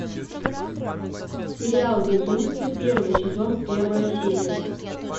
сериал безумцы первый сезон первая серия